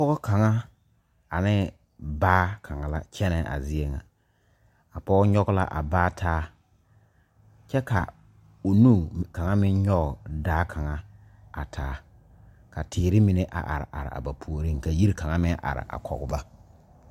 Pɔge kaŋa ane baa kaŋa la kyɛnɛ a zie ŋa a pɔge nyɔge la a baa taa kyɛ ka o nu kaŋa meŋ nyɔge daa kaŋa a taa ka teere mine a are are a ba puoriŋ ka yiri kaŋa meŋ a are kɔge ba.